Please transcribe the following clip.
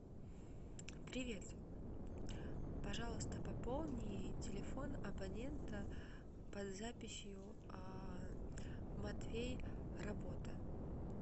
привет пожалуйста пополни телефон абонента под записью матвей работа